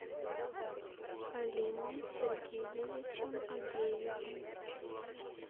алимом сергеевичем агеевым